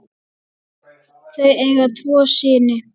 Þau eiga tvo syni.